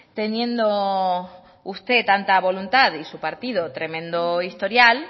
teniendo usted tanta voluntad y su partido tremendo historial